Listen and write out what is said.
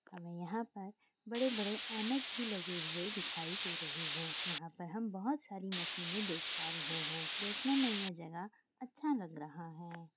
अं यहाँ पर बड़े-बड़े ऐनक भी लगे हुए दिखाई दे रहे है। यहाँ पर हम बहुत सारी मशीने देख पा रहे है। देखने में ये जगह अच्छा लग रहा है।